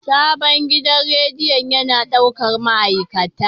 Sabon gidan rediyon yana ɗaukar ma'aikata.